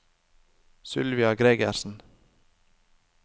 Sylvia Gregersen